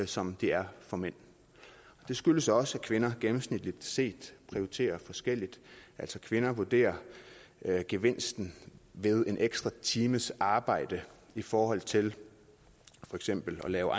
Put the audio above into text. som de er for mænd det skyldes også at kvinder gennemsnitligt set prioriterer forskelligt altså kvinder vurderer gevinsten ved en ekstra times arbejde i forhold til for eksempel at lave